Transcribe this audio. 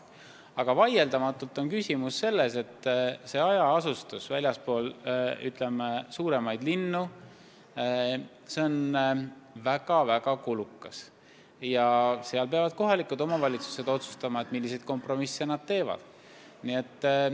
Vaieldamatult on küsimus selles, et hajaasustus väljaspool suuremaid linnu on seotud väga-väga suurte kuludega ja seal peavad kohalikud omavalitsused otsustama, milliseid kompromisse nad teevad.